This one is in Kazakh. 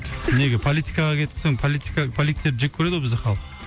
неге политикаға кетіп қалсаң политика политиктерді жек көреді ғой бізде халық